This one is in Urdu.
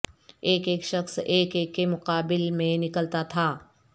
ایک ایک شخص ایک ایک کے مقابل میں نکلتا تھا